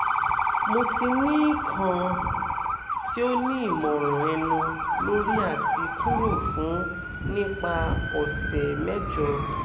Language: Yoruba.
mo ti ni kan ti o ni imọran ẹnu lori ati kuro fun nipa ọ̀sẹ̀ mẹ́jọ